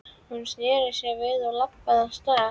Hún sneri sér við og labbaði af stað.